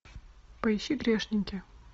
поищи грешники